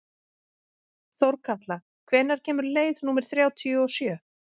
Þórkatla, hvenær kemur leið númer þrjátíu og sjö?